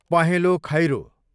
पहेँलो खैरो